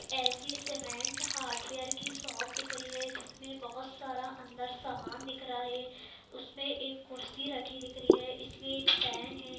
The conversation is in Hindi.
ए.सी.सी सीमेंट हार्डवेयर की शॉप दिख रही है जिसमे बहुत सारा अंदर समान दिख रहा है उसमें एक कुर्सी रखी दिख रही है इसमें एक फैन हैं।